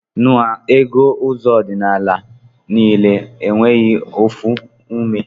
Na ego ụzọ ọdinala ha nile enweghi ofu ume